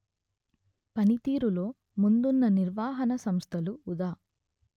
పనితీరులో ముందున్న నిర్వహణ సంస్థలు ఉదా